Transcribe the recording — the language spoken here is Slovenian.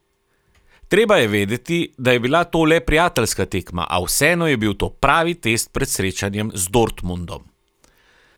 Treba je vedeti, da je bila to le prijateljska tekma, a vseeno je bil to pravi test pred srečanjem z Dortmundom.